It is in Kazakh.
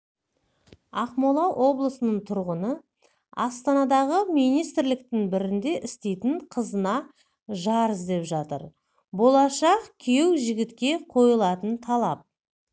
ақмола облысының тұрғыны астанадағы министрліктердің бірінде істейтін қызына жар іздеп жатыр болашақ күйеу жігітке қойылтын талап